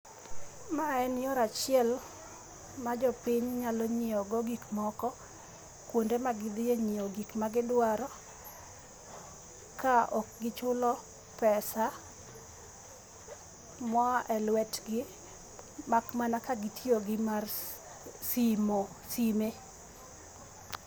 Mae en yore achiel ma jopiny nyalo nyiewo go gik moko kuonde ma gidhiye nyiewo gik magidwaro ka ok gichulo pesa moa e lwetgi mak mana ka gitiyo gi mar simo, sime